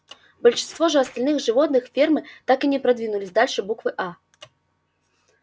большинство же остальных животных фермы так и не продвинулись дальше буквы а